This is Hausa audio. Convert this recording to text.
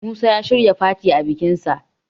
Musa ya shirya fati a bikinsa